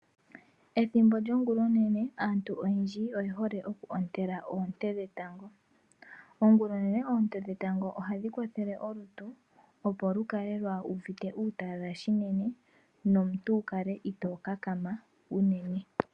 Ethimbo lyongula onene aantu oyendji oyehole okuhontela oonte dhetango. Ongula onene oonte dhetango ohadhikwathele olutu opo lukale lwa uvite uutalala shinene nomuntu wukale ito kakama uunene.